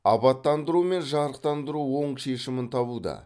абаттандыру мен жарықтандыру оң шешімін табуда